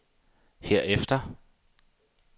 herefter